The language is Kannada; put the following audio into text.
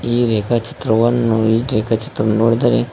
ಈ ರೇಖಾ ಚಿತ್ರವನ್ನು ಈ ರೇಖಾ ಚಿತ್ರ ನೋಡಿದರೆ--